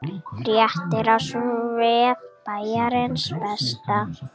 Fréttin á vef Bæjarins Besta